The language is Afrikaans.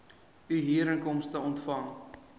u huurinkomste ontvang